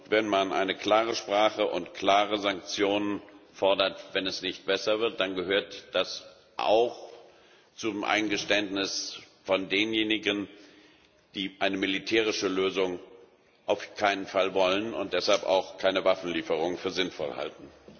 Wenn man eine klare Sprache und klare Sanktionen fordert, wenn es nicht besser wird, dann gehört das auch zum Eingeständnis derjenigen, die eine militärische Lösung auf keinen Fall wollen und deshalb auch keine Waffenlieferung für sinnvoll halten.